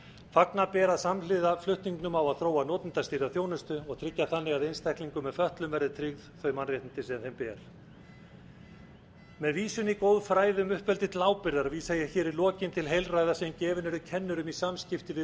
fagna ber að samhliða flutningnum á að þróa notendastýrða þjónustu og tryggja þannig að einstaklingum með fötlun verði tryggð þau mannréttindi sem þeim ber með vísun í góð færði um uppeldi til ábyrgðar vísa hér í lokin til heilræða sem gefin eru kennurum í samskipti við